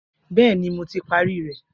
Bẹẹni, Mo ti pari rẹ.